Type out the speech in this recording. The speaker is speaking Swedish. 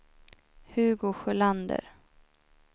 Hugo Sjölander